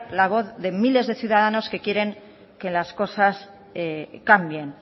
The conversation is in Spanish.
la voz de miles de ciudadanos que quieren que las cosas cambien